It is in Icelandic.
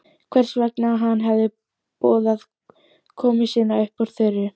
Hvers vegna hann hefði boðað komu sína upp úr þurru.